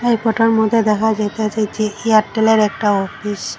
এই ফটোর মধ্যে দেখা যাইতাসে যে এয়ারটেলের একটা অফিস ।